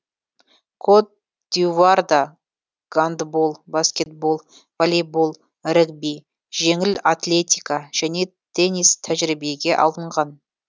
кот д ивуарда гандбол баскетбол волейбол регби жеңіл атлетика және теннис тәжірибеге алынған